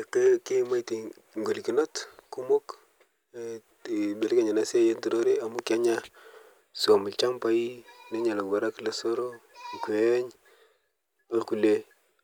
Etaa kiimaite ngolokinot kumok eh te eibelekeny ana siai eturore amu kenya swom lchambai, nenya lowarak lesoro, nkweny, olkule